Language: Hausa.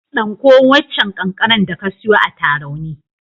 Ɗanko waccan kankanar da ka siyo a Tarauni.